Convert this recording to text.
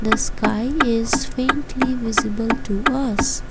the sky is faintly visible to us.